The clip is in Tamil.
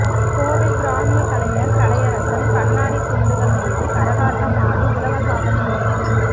கோவை கிராமிய கலைஞர் கலையரசன் கண்ணாடி துண்டுகள் மீது கரகாட்டம் ஆடி உலக சாதனை முயற்சி